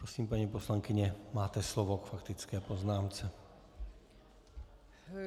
Prosím, paní poslankyně, máte slovo k faktické poznámce.